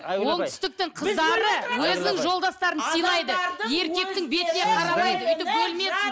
айгүл апай оңтүстіктің қыздары өзінің жолдастарын сыйлайды еркектің бетіне қарамайды өйтіп бөлмесін